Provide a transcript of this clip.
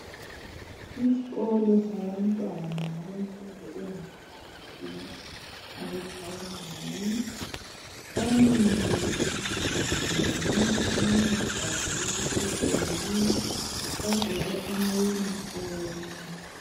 Isikolo sabantwana abemfundo engaphansi abe Primary bamile emawindini. Omunye ubhabhule isetsheli. Bagqoke ama uniform.